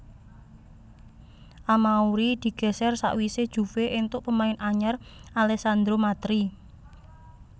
Amauri digèsèr sakwisé Juve éntuk pemain anyar Alessandro Matri